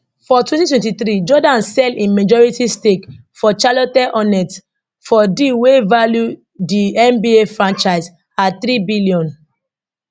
for 2023 jordan sell im majority stake for charlotte hornets for deal wey value di nba franchise at 3 billion